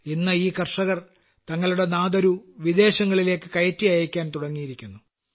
ഇന്ന് ഈ കർഷകർ തങ്ങളുടെ നാദരു വിദേശങ്ങളിലേയ്ക്ക് കയറ്റി അയയ്ക്കാൻ തുടങ്ങിയിരിക്കുന്നു